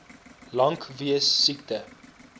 lank weens siekte